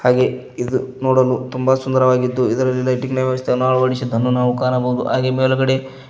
ಹಾಗೆ ಇದು ನೋಡಲು ತುಂಬಾ ಸುಂದರವಾಗಿದ್ದು ಇದರಲ್ಲಿ ಲೈಟಿಂಗ್ ನ ವ್ಯವಸ್ಥೆಯನ್ನು ಅಳವಡಿಸಿದ್ದನ್ನು ನಾವು ಕಾಣಬಹುದು ಹಾಗೆ ಮೇಲುಗಡೆ--